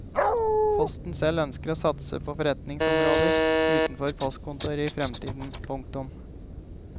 Posten selv ønsker å satse på forretningsområder utenfor postkontoret i fremtiden. punktum